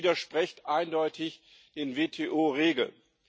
Das widerspricht eindeutig den WTO Regeln.